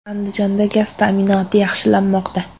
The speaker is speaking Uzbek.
Andijonda gaz ta’minoti yaxshilanmoqda.